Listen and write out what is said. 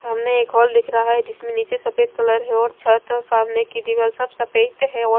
सामने एक हॉल दिख रहा है जिसमें नीचे सफेद कलर है और छत और सामने की दीवाल सब सफेद है और--